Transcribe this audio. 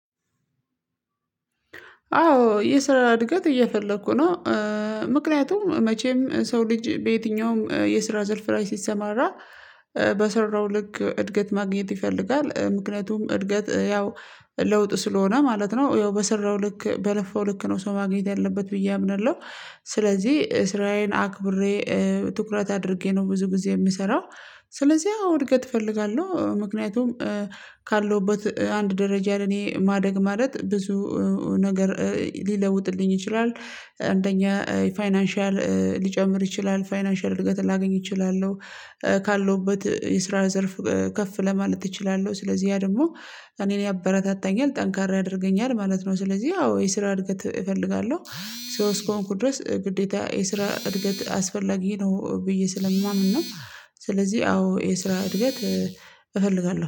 አዎ የስራ እድገት እየፈለኩ ነው። ምክንያቱም መቼም ሰው ልጅ በየትኛውም የስራ ዘርፍ ላይ ሲሰማራ በሰራው ልክ እድገት ማግኘት ይፈልጋል ምክንያቱም እድገት ያው ለውጥ ስለሆነ ማለት ነው ያው በሰራው ልክ በለፋው ልክ ነው ሰው ማግኘት ያለበት ብዬ አምናለሁ። ስለዚህ ስራዬን አክብሬ ትኩረት አድርጌ ነው ብዙ ግዜ የምሰራው። ስለዚህ አዎ እድገት እፈልጋለሁ ምክንያቱም ካለውበት አንድ ደረጃ ለኔ ማደግ ማለት ብዙ ነገር ሊለውጥልኝ ይችላል። አንደኛ ፋይናንሻል ሊጨምር ይችላል ፋይናንሻል እድገት ላገኝ እችላለሁ። ካለውበት የስራ ዘርፍ ከፍ ለማለት እችላለሁ ስለዚህ ያ ደግሞ እኔን ያበረታታኛል ጠንካራ ያደርገኛል ማለት ነው። ስለዚህ አዎ የስራ እድገት እፈልጋለሁ። ሰው እስከሆንኩ ድረስ ግዴታ የስራ እድገት አስፈላጊ ነው ብዬ ስለምማምን ነው። ስለዚህ አዎ የስራ እድገት እፈልጋለሁ